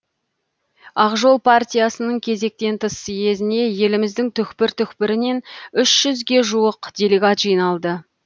ақ жол партиясының кезектен тыс съезіне еліміздің түкпір түкпірінен үш жүзге жуық делегат жиналды